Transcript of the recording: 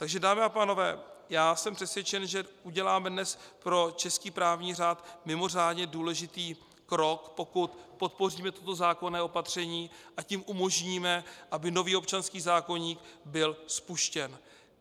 Takže dámy a pánové, já jsem přesvědčen, že uděláme dnes pro český právní řád mimořádně důležitý krok, pokud podpoříme toto zákonné opatření, a tím umožníme, aby nový občanský zákoník byl spuštěn.